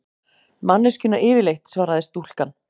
Manneskjuna yfirleitt, svaraði stúlkan.